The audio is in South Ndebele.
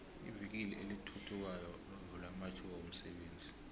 ivikili elithuthukayo lovula amathuba womsebenzi